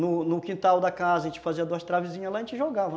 No no quintal da casa, a gente fazia duas travezinhas lá e a gente jogava.